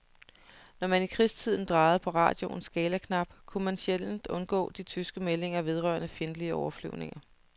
Når man i krigstiden drejede på radioens skalaknap, kunne man sjældent undgå de tyske meldinger vedrørende fjendtlige overflyvninger.